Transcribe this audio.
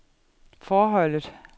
forholdet